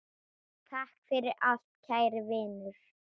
Takk fyrir allt kæri Vinur.